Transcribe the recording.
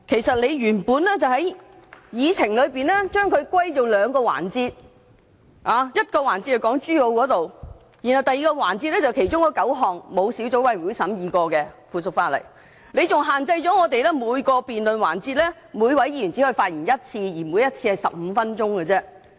主席原本將這些事項歸納為兩個環節，其一涉及港珠澳大橋事宜，第二個環節則涉及9項未經小組委員會審議的附屬法例，他更限制每位議員在每個辯論環節只可發言1次，每次只得15分鐘。